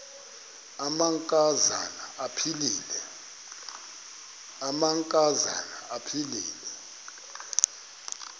amanka zana aphilele